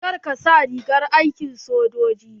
Ka dai sa rigar aikin sojoji.